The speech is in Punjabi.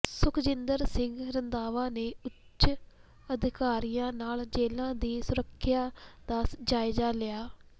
ਸੁਖਜਿੰਦਰ ਸਿੰਘ ਰੰਧਾਵਾ ਨੇ ਉਚ ਅਧਿਕਾਰੀਆਂ ਨਾਲ ਜੇਲ੍ਹਾਂ ਦੀ ਸੁਰੱਖਿਆ ਦਾ ਜਾਇਜ਼ਾ ਲਿਆ